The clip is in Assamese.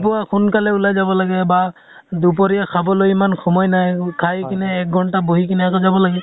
পুৱা সোনকালে ওলাই যাব লাগে বা দুপৰিয়া খাবলৈ ইমান সময় নাই। খাই কিনে এক ঘন্টা বহি কিনে আকৌ যাব লাগিল।